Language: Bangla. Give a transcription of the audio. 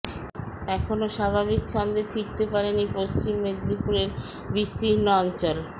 এখনও স্বাভাবিক ছন্দে ফিরতে পারেনি পশ্চিম মেদিনীপুরের বিস্তীর্ণ অঞ্চল